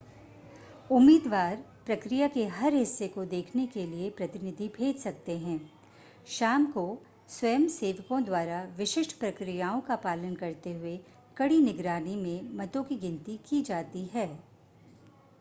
उम्मीदवार प्रक्रिया के हर हिस्से को देखने के लिए प्रतिनिधि भेज सकते हैं शाम को स्वयंसेवकों द्वारा विशिष्ट प्रक्रियाओं का पालन करते हुए कड़ी निगरानी में मतों की गिनती की जाती है